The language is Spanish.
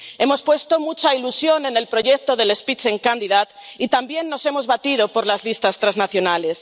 Hemos puesto mucha ilusión en el proyecto del Spitzenkandidat y también nos hemos batido por las listas transnacionales.